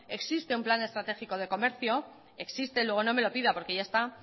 existe un plan estratégico de comercio existe luego no me lo pida porque ya está